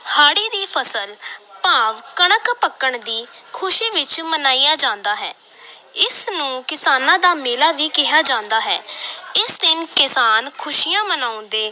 ਹਾੜੀ ਦੀ ਫਸਲ ਭਾਵ ਕਣਕ ਪੱਕਣ ਦੀ ਖ਼ੁਸ਼ੀ ਵਿਚ ਮਨਾਇਆ ਜਾਂਦਾ ਹੈ ਇਸ ਨੂੰ ਕਿਸਾਨਾਂ ਦਾ ਮੇਲਾ ਵੀ ਕਿਹਾ ਜਾਂਦਾ ਹੈ ਇਸ ਦਿਨ ਕਿਸਾਨ ਖ਼ੁਸ਼ੀਆਂ ਮਨਾਉਂਦੇ